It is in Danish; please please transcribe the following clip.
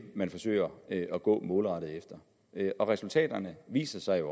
man forsøger at gå målrettet efter resultaterne viser sig jo